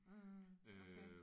Mh okay